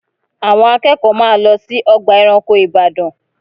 Àwọn akẹ́kọ̀ọ́ máa lọ sí ọgbà ẹranko Ìbàdàn